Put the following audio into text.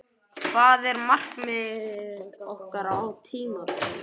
Hvað er markmiðið okkar á tímabilinu?